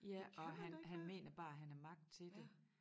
Ja og han han mener bare han har magt til det